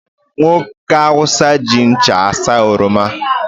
Nwoke Hausa ji ncha asaa oroma